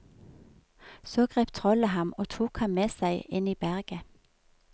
Så grep trollet ham og tok ham med seg inn i berget.